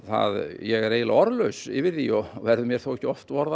ég er eiginlega orðlaus yfir því og verður mér þó ekki oft orða